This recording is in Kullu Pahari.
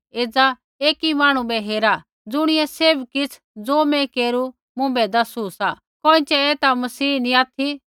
एज़ा एकी मांहणु बै हेरा ज़ुणियै सैभ किछ़ ज़ो मैं केरू मुँभै दसु सा कोइँछ़ै ऐ ता मसीह नी ऑथि